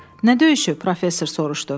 Nə döyüşü, professor soruşdu.